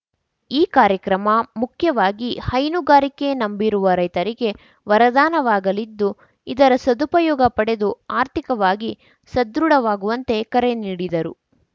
ಈ ಕಾರ್ಯಕ್ರಮ ಮುಖ್ಯವಾಗಿ ಹೈನುಗಾರಿಕೆ ನಂಬಿರುವ ರೈತರಿಗೆ ವರದಾನವಾಗಲಿದ್ದು ಇದರ ಸದುಪಯೋಗ ಪಡೆದು ಆರ್ಥಿಕವಾಗಿ ಸದೃಢವಾಗುವಂತೆ ಕರೆ ನೀಡಿದರು